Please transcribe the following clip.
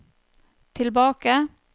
tilbake